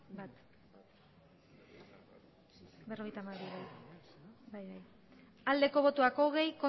hogei bai